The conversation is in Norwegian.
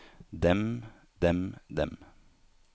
dem dem dem